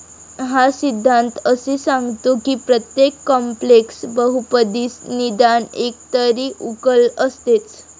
हा सिद्धांत असे सांगतो कि प्रत्येक कॉम्प्लेक्स बहुपदीस निदान एकतरी उकल असतेच.